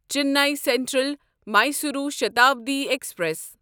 Chennai central Mysuru Shatabdi express